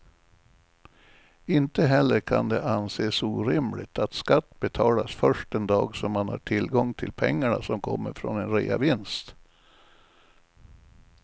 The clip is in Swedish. Inte heller kan det anses orimligt att skatt betalas först den dag som man har tillgång till pengarna som kommer från en reavinst.